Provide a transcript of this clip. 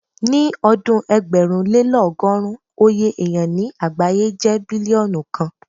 Ní ọdún ẹgbẹ̀rúnlélọ́gọ́rùn, oye èyàn ní àgbáyé jẹ́ bílíọ́nù kan.